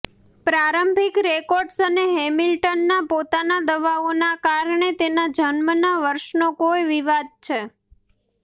પ્રારંભિક રેકોર્ડ્સ અને હેમિલ્ટનના પોતાના દાવાઓના કારણે તેના જન્મના વર્ષનો કોઈ વિવાદ છે